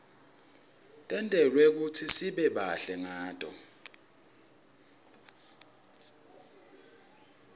tentelwe kutsi sibe bahle ngato